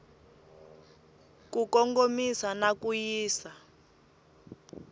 ku kongomisa na ku yisa